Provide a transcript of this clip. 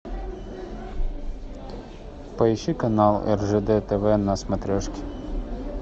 поищи канал ржд тв на смотрешке